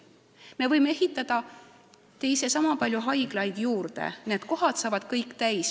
Me võime ehitada teist samapalju haiglaid juurde, need kohad saavad kõik täis.